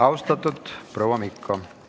Austatud proua Mikko!